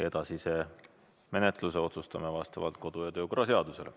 Edasise menetlemise otsustame vastavalt kodu- ja töökorra seadusele.